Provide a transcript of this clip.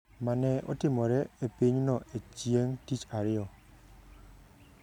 ma ne otimore e pinyno e chieng’ tich ariyo.